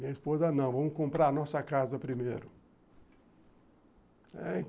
Minha esposa, não, vamos comprar a nossa casa primeiro.